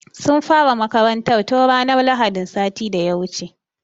Sun fara makarantar tun ranar lahadin sati da ya wuce.